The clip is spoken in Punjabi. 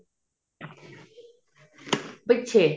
ਪਿੱਛੇ